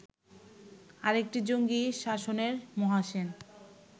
আরেকটি জঙ্গি শাসনের 'মহাসেন'